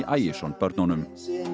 Ægisson börnunum